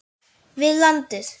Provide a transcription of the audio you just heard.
við landið.